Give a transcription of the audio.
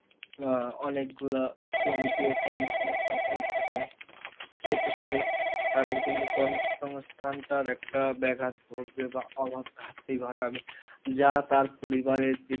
আহ অনেকগুলা শ্রমিকের কর্মসংস্থান হয়ে থাকে, সেক্ষেত্রে তাদের কিন্তু কর্মসংস্থানটার একটা ব্যাঘাত ঘটবে বা অভাব ঘাটতি ঘটাবে যা তার পরিবারের দিক,